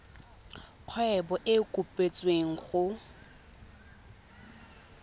kgwebo e e kopetswengcc go